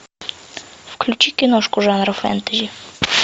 включи киношку жанра фэнтези